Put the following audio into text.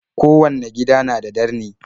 Kowanne gida na da darni.